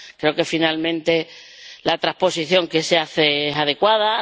Creo que finalmente la transposición que se hace es adecuada.